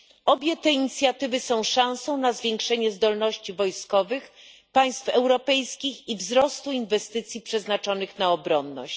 Obie te inicjatywy są szansą na zwiększenie zdolności wojskowych państw europejskich i wzrost inwestycji przeznaczonych na obronność.